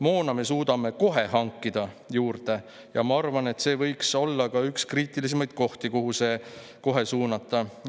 Moona me suudaksime kohe hankida juurde ja ma arvan, et see võiks olla ka üks kriitilisemaid kohti, kuhu see kohe suunata.